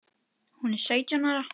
Hún er sautján ára.